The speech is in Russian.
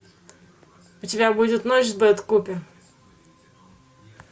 у тебя будет ночь с бет купер